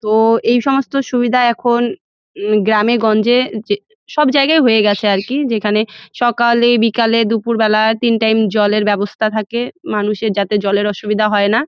তো এই সমস্ত সুবিধা এখন গ্রামে গঞ্জে যে সব জায়গায় হয়ে গাছে আর কি যেখানে সকলে বিকালে দুপুর বেলায় তিন টাইম -এ জলের ব্যাবস্থা থাকে মানুষের যাতে জলের অসুবিধা হয় না।